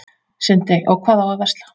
Sindri: Og hvað á að versla?